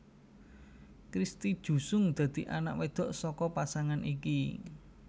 Christy Jusung dadi anak wedok saka pasangan iki